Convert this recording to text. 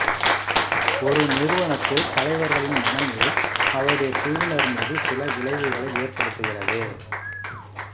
ஒரு நிறுவனத்தில் தலைவர்களின் மனநிலை அவருடைய குழுவினர் மீது சில விளைவுகளை ஏற்படுத்துகிறது